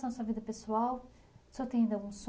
Em relação à sua vida pessoal, o senhor tem ainda um son?